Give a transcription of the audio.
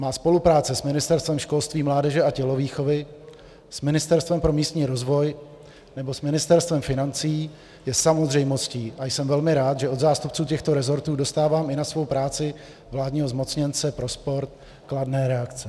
Má spolupráce s Ministerstvem školství, mládeže a tělovýchovy, s Ministerstvem pro místní rozvoj nebo s Ministerstvem financí je samozřejmostí a jsem velmi rád, že od zástupců těchto rezortů dostávám i na svou práci vládního zmocněnce pro sport kladné reakce.